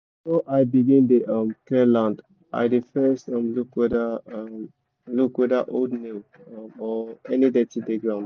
before i begin dey clear land i dey first look whether look whether old nail or any dirty dey ground